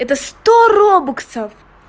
это сто робаксов